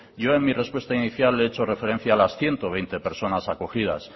yo en mi respuesta inicial he hecho referencia a las ciento veinte personas acogidas